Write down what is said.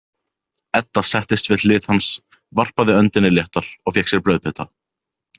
Edda settist við hlið hans, varpaði öndinni léttar og fékk sér brauðbita.